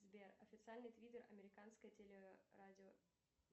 сбер официальный твиттер американской теле радио